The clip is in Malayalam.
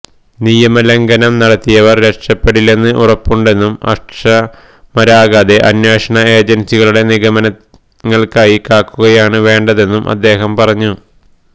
നിയമലംഘനം നടത്തിയവർ രക്ഷപ്പെടില്ലെന്ന് ഉറപ്പുണ്ടെന്നും അക്ഷമരാകാതെ അന്വേഷണ ഏജൻസികളുടെ നിഗമനങ്ങൾക്കായി കാക്കുകയാണ് വേണ്ടതെന്നും അദ്ദേഹം പറഞ്ഞു